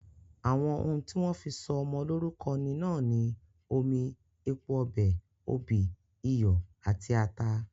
Àwọn oún tí wón fí sọ ọmọ lórúko ní náà ni omi, epo ọ̀pẹ, òbí, iyọ àti atá.